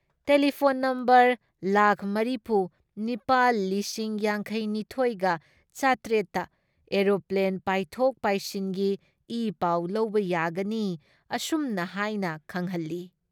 Telephone number ꯂꯥꯛ ꯃꯔꯤꯐꯨ ꯅꯤꯄꯥꯜ ꯂꯤꯁꯤꯡ ꯌꯥꯡꯈꯩ ꯅꯤꯊꯣꯏꯒ ꯆꯥꯇꯔꯦꯠ ꯇ ꯑꯦꯔꯣꯄ꯭ꯂꯦꯟ ꯄꯥꯏꯊꯣꯛ ꯄꯥꯏꯁꯤꯟꯒꯤ ꯏ ꯄꯥꯎ ꯂꯧꯕ ꯌꯥꯒꯅꯤ ꯑꯁꯨꯝꯅ ꯍꯥꯏꯅ ꯈꯪꯍꯜꯂꯤ ꯫